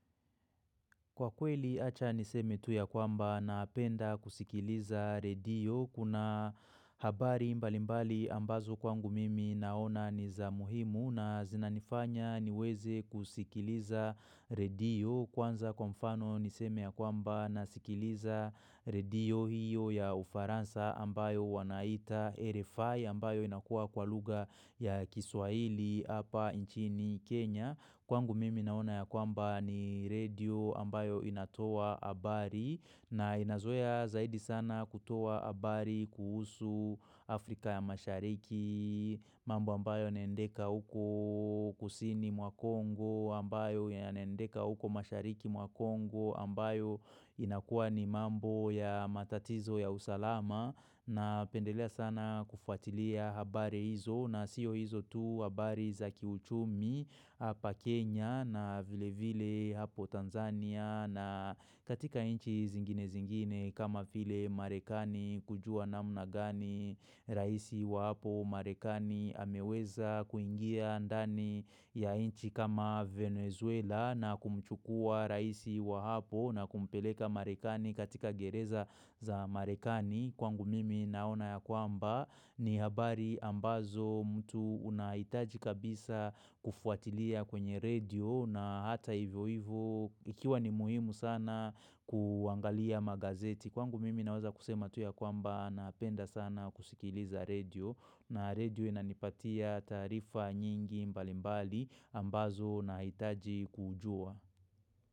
Kwa kweli acha niseme tu ya kwamba napenda kusikiliza redio, kuna habari mbali mbali ambazo kwangu mimi naona nizamuhimu na zinanifanya niweze kusikiliza redio. Kwanza kwa mfano niseme ya kwamba nasikiliza redio hiyo ya Ufaransa ambayo wanaita RFI ambayo inakua kwa lugha ya kiswahili apa inchini Kenya. Kwangu mimi naona ya kwamba ni redio ambayo inatoa habari na inazoea zaidi sana kutoa habari kuhusu Afrika ya mashariki, mambo ambayo yanaendeka uku kusini mwa Congo ambayo yaneendeka uko mashariki mwa Congo ambayo inakuwa ni mambo ya matatizo ya usalama. Napendelea sana kufuatilia habari hizo na siyo hizo tu habari za kiuchumi hapa Kenya na vile vile hapo Tanzania na katika inchi zingine zingine kama vile Marekani kujua namna gani raisi wa hapo Marekani ameweza kuingia ndani ya inchi kama Venezuela na kumchukua raisi wa hapo na kumpeleka Marekani katika gereza za Marekani Kwangu mimi naona ya kwamba ni habari ambazo mtu unahitaji kabisa kufuatilia kwenye redio na hata hivyo hivyo ikiwa ni muhimu sana kuangalia magazeti. Kwangu mimi naweza kusema tu ya kwamba napenda sana kusikiliza redio na redio inanipatia taarifa nyingi mbalimbali ambazo unahitaji kujua.